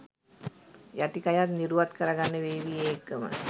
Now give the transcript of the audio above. යටිකයත් නිරුවත් කරගන්න වේවි ඒ එක්කම.